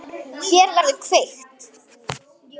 Hér verður kveikt.